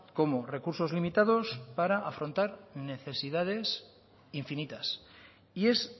como recursos limitados para afrontar necesidades infinitas y es